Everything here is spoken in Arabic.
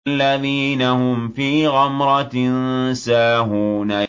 الَّذِينَ هُمْ فِي غَمْرَةٍ سَاهُونَ